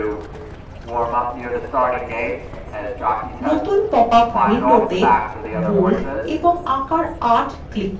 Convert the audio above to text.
নতুন পপআপ windowতে bold এবং আকার ৮ click করুন